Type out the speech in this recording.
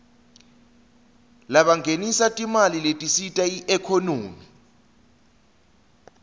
labangenisa timali letisita iekhonomy